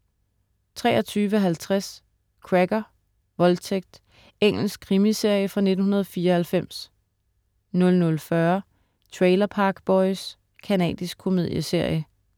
23.50 Cracker: Voldtægt. Engelsk krimiserie fra 1994 00.40 Trailer Park Boys. Canadisk komedieserie